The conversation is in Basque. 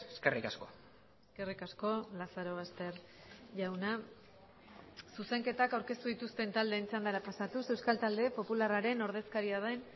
eskerrik asko eskerrik asko lazarobaster jauna zuzenketak aurkeztu dituzten taldeen txandara pasatuz euskal talde popularraren ordezkaria den